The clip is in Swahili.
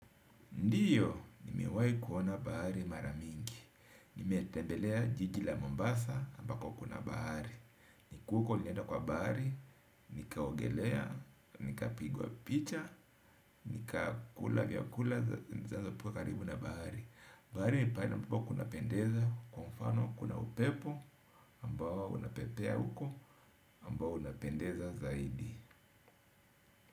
Ndiyo, nimewahi kuona bahari mara mingi. Nimetembelea jiji la Mombasa ambako kuna bahari. Nikiwa huko nilienda kwa bahari, nikaogelea, nikapigwa picha, nikakula vyakula zinazopikwa karibu na bahari. Bahari ni pahali ambapo kunapendeza kwa mfano kuna upepo ambao unapepea uko ambao unapendeza zaidi.